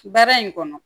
Baara in kɔnɔ